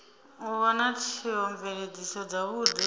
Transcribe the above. u vha na theomveledziso dzavhudi